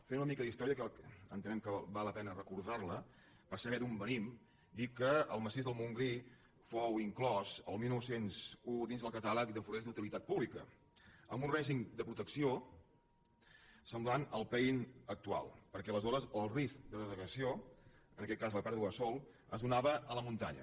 fent una mica d’història que entenem que val la pena recordar·la per saber d’on venim dir que el massís del montgrí fou inclòs el dinou zero un dins el catàleg de forests d’utilitat pública amb un règim de protecció semblant al pein actual perquè aleshores el risc de degradació en aquest cas la pèrdua de sòl es donava a la munta·nya